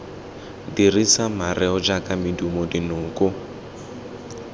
dirisa mareo jaaka medumo dinoko